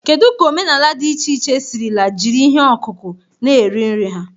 Kedu ka omenala dị iche iche sirila jiri ihe ọkụkụ na-eri nri ha?